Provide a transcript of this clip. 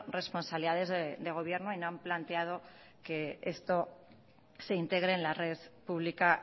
responsabilidades de gobierno y no han planteado que esto se integre en la red pública